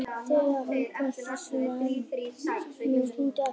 Þegar hann komst í símann hafði hún lagt á, en hún hringdi aftur.